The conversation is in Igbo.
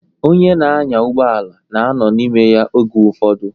Onye na-anya ụgbọala na-anọ n'ime ya oge ụfọdụ.